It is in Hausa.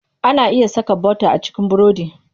Ana iya saka bota a cikin burodi.